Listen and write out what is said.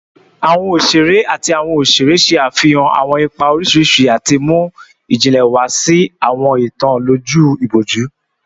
Awọn oṣere ati awọn oṣere ṣe afihan awọn ipa oriṣiriṣi ati mu ijinle wa si awọn itan loju iboju